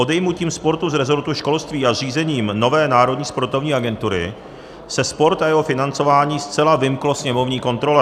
Odejmutím sportu z resortu školství a zřízením nové Národní sportovní agentury se sport a jeho financování zcela vymkly sněmovní kontrole.